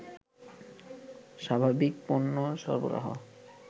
স্বাভাবিক পণ্য সরবরাহ